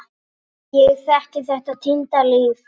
Ég þekki þetta týnda líf.